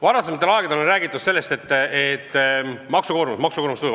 Varasematel aegadel on räägitud sellest, et maksukoormus kasvab.